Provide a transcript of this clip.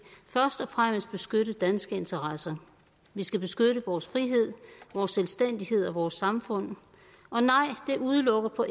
først og fremmest beskytte danske interesser vi skal beskytte vores frihed vores selvstændighed og vores samfund og nej det udelukker på